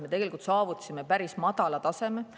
Me tegelikult saavutasime päris madala taseme.